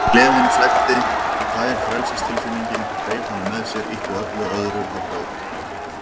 En gleðin flæddi, tær frelsistilfinningin, hreif hana með sér, ýtti öllu öðru á braut.